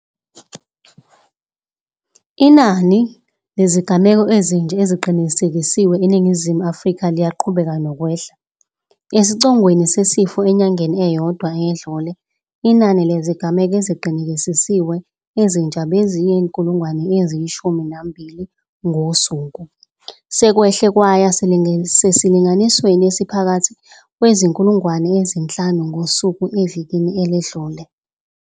Inani lezigameko ezintsha eziqinisekisiwe eNingizimu Afrika liyaqhubeka nokwehla. Esicongweni sesifo enyangeni eyodwa eyedlule, inani lezigameko eziqinise kisiwe ezintsha beliyizi-12 000 ngosuku. Lokhu sekwehle kwaya esilinganisweni esiphakathi esiyizi-5 000 ngosuku evikini eledlule.